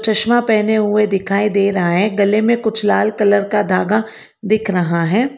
चश्मा पहने हुए दिखाई दे रहा है गले में कुछ लाल कलर का धागा दिख रहा है।